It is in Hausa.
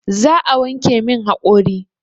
Za a wanke min haƙori